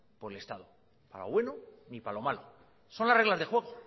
por el estado ni para lo bueno ni para lo malo son las reglas del juego